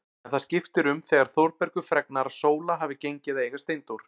En það skiptir um þegar Þórbergur fregnar að Sóla hafi gengið að eiga Steindór.